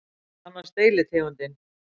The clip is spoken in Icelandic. Meðal annars deilitegundin